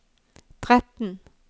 tretten